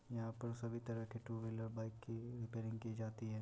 यहाँ पर सभी तरह के टू व्हीलर बाइक की रिपेयरिंग की जाती है।